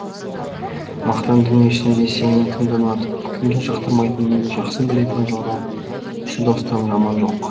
мақтан дүниесінде сенің кімді ұнатып кімді жақтырмайтыныңды жақсы білетін жалғаншы достан жаман жоқ